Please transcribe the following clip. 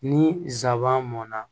Ni nsaban mɔnna